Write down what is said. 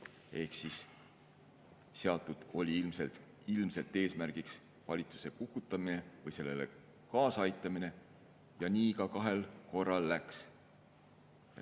Eesmärgiks oli ilmselt seatud valitsuse kukutamine või sellele kaasa aitamine, ja nii kahel korral läkski.